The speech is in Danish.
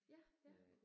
Ja, ja